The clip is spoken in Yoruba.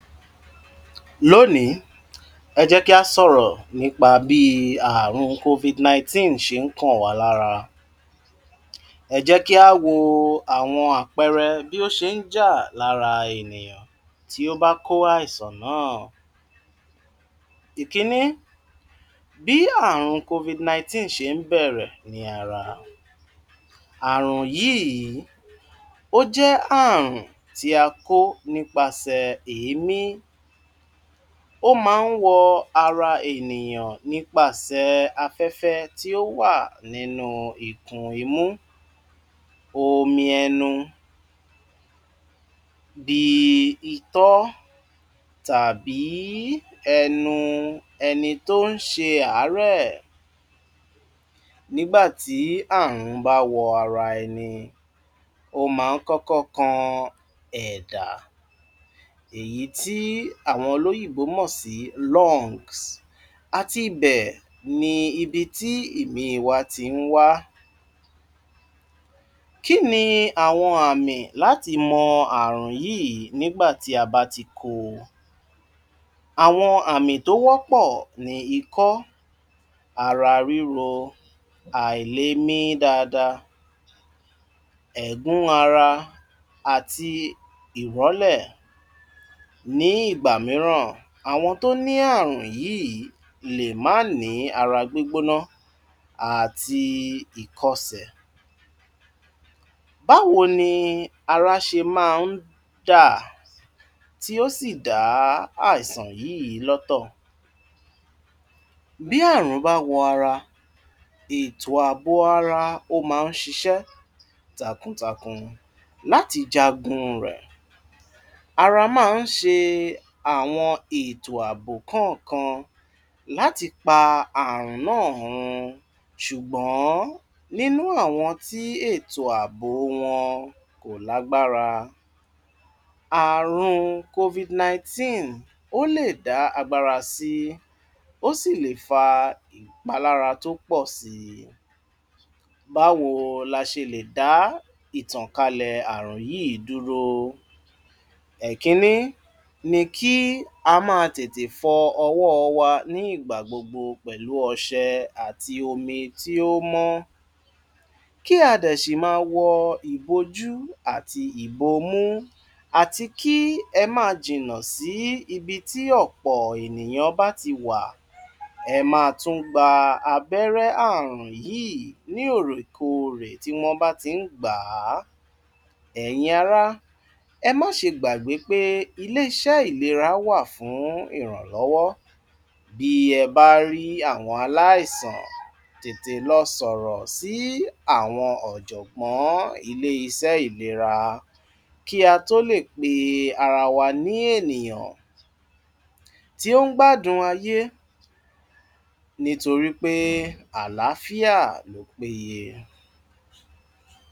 Lónìí, ẹ jẹ́ kí á sọ̀rọ̀ nípa bíi àrùn COVID nineteen ṣe ń kàn wá lára. Ẹ jẹ́ kí á wo àwọn àpẹẹrẹ bí ó ṣe ń jà lára ènìyàn tí ó bá kó àìsàn náà. Ìkínní, bí àrùn COVID nineteen ṣe ń bẹ̀rẹ̀ ní ara. Àrùn yíìí, ó jẹ́ àrùn tí a kó nípasẹ̀ èémí. Ó ma ń wọ ara ènìyàn nípasẹ̀ afẹ́fẹ́ tí ó wà nínú ikun imú, omi ẹnu bii itọ́ tàbí ẹnu ẹni tó ń ṣe àárẹ̀. Nígbà tí àrùn bá wọ ara ẹni, ó ma ń kọ́kọ́ kan ẹ̀dà èyí tí àwọn olóyìbó mọ̀ sí lungs. Àtibẹ̀ ni ibi tí ìmí wa ti ń wá. Kí ni àwọn àmì láti mọ àrùn yíìí nígbà tí a bá ti kó o? Àwọn àmì tó wọ́pọ́ ni ikọ́, ara ríro, àìlemí dáada, ẹ̀gún ara àti ìrọ́lẹ̀. Ní ìgbà mìíràn, àwọn tó ní àrùn yíìí lè má ní ara gbígbóná àti ìkọsẹ̀. Báwo ni ara ṣe máa ń dà tí ó sì dá àìsàn yíìí lọ́tọ̀? Bí àrùn bá wọ ara, ètò ààbò ara, ó máa ń ṣiṣẹ́ takuntakun láti jagun rẹ̀. Ara máa ń ṣe àwọn ètò ààbò kánànkan láti pa àrùn náà hun ṣùgbọ́n nínú àwọn tí ètò ààbò wọn kò lágbára. Àrùn COVID nineteen ó lè dá agbára sí, ó sì lè fa ìpalára tó pọ̀ sii. Báwo la ṣe lè dá ìtànkalẹ̀ àrùn yíìí dúró? Ẹkínní ni kí a máa tètè fọ ọ̀wọ́ wa ni ìgbà gbogbo pẹ̀lú ọṣẹ àti omi tí ó mọ́. Kí a dẹ̀ ṣì máa wọ ìbojú àti ìbomú àti kí ẹ máa jìnnà sí ibi tí ọ̀pọ̀ ènìyàn bá ti wà. Ẹ máa tún gba abẹ́rẹ́ àrùn yíìí ni òòrèkoòrè tí wọ́n bá ti ń gbà á. Ẹ̀yin ará, ẹ má ṣe gbàgbé pé iléeṣẹ́ ìlera wà fún ìrànlọ́wọ́. Bí ẹ bá rí àwọn aláìsàn, tètè lọ sọ̀rọ̀ sí àwọn ọ̀jọ̀gbọ́n ilé-isẹ́ ìlera kí a tó lè pe ara wa ní ènìyàn tí ó ń gbádùn ayé nítorí pé àlàáfíà ló péye.